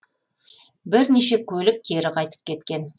бірнеше көлік кері қайтып кеткен